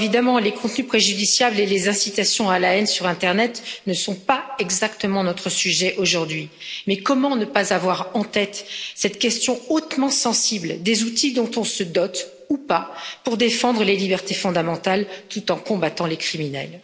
Certes, les contenus préjudiciables et les incitations à la haine sur internet ne sont pas exactement notre sujet aujourd'hui, mais comment ne pas avoir en tête cette question hautement sensible des outils dont on se dote ou pas pour défendre les libertés fondamentales tout en combattant les criminels?